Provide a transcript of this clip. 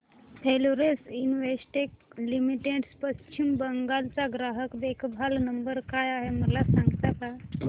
Florence Investec limited Paschim Bangal चा ग्राहक देखभाल नंबर काय आहे मला सांगता का